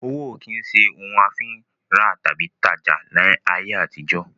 Owó ó kín ṣe òun a fi ń rà tàbí tajá ni ayé àtijó